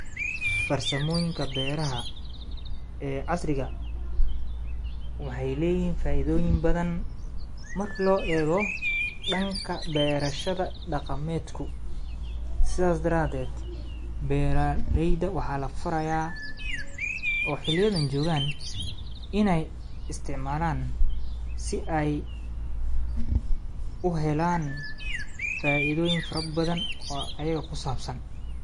Farsamoyinka beraha ee casriga waxay leyihin faidoyin badhan marki loo ego danka berashadha daqameidku sidhas daraded beraleyda waxa lafaraya oo xiliyadan jogan inay istacmalan si ay uhelan faidhoyin fara badhan oo ayaga kusabsan.